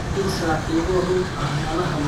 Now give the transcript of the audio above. In saaxiibo run ah la lahaado waxay keentaa ammaan.